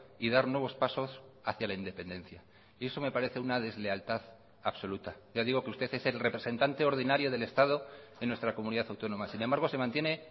y dar nuevos pasos hacia la independencia y eso me parece una deslealtad absoluta ya digo que usted es el representante ordinario del estado en nuestra comunidad autónoma sin embargo se mantiene